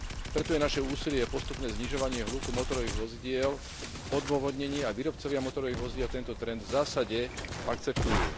Preto je naše úsilie o postupné znižovanie hluku motorových vozidiel odôvodnené a výrobcovia motorových vozidiel tento trend v zásade akceptujú.